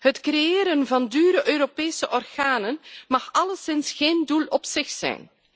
Het creëren van dure Europese organen mag alleszins geen doel op zich zijn.